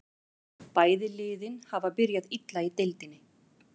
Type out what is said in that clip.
Bæði liðin hafa byrjað illa í deildinni.